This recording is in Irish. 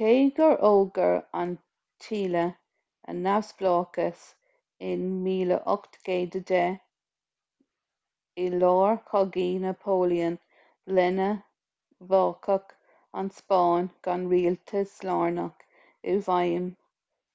cé gur fhógair an tsile a neamhspleáchas in 1810 i lár chogaí napoléon lena bhfágadh an spáinn gan rialtas lárnach i bhfeidhm